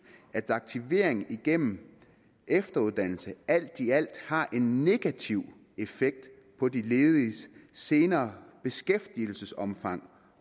at aktivering igennem efteruddannelse alt i alt har en negativ effekt på de lediges senere beskæftigelsesomfang